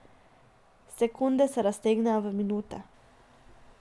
Sekunde se raztegnejo v minute.